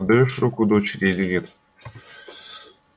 отдаёшь руку дочери или нет